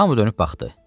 Hamma dönüb baxdı.